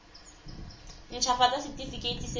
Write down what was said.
nt hafatsa setefikeiti se se